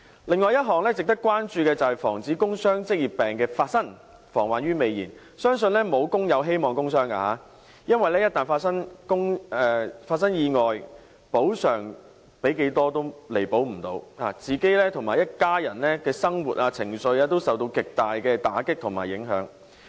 另外一項值得關注的便是防止工傷職業病的發生，防患於未燃，相信沒有工友希望工傷，因為一旦發生意外，補償多少也彌補不了，自己及一家人的生活、情緒均受到極大打擊和影響。